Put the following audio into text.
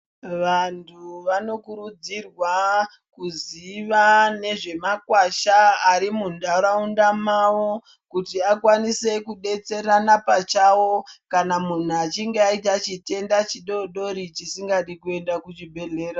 Vantu vanokurudzirwa kuziva nezvemakwasha ari mundaraunda mavo kuti akwanise kudetserana pachawo, kana munhu achinge ayita chitenda chidodori chisingadi kuenda kuchibhedhlera.